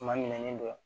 Kuma minɛni dɔ